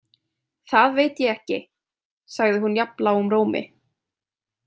Það veit ég ekki, sagði hún jafn lágum rómi.